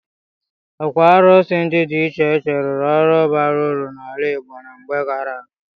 Ókwù árụ̀sị ndị dị iche iche rụrụ ọrụ baara uru n'ala Igbo na mgbe gaara aga.